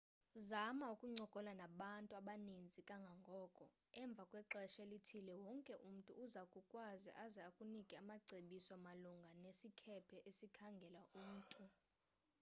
zama ukuncokola nabantu abaninzi kangangoko emva kwexesha elithile wonke umntu uza kukwazi aze akunike amacebiso malunga nesikhephe esikhangela umntu